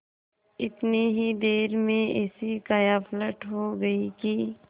इतनी ही देर में ऐसी कायापलट हो गयी कि